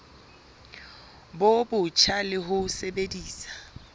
bo botjha le ho sebedisa